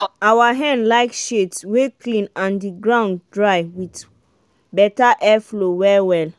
our hen like shades wey clean and the ground dry with better airflow well well.